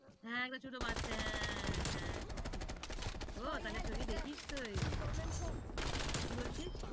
হ্যাঁ একবার ছোট বাচ্চা হ্যাঁ, হ্যাঁ ঠিক ঠিক ঠিক। ও তাইলে ছবি দেখিস তুই?